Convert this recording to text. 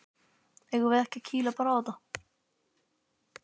Eigum við ekki bara að kýla á þetta?